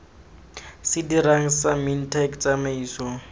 se dirang sa mintech tsamaiso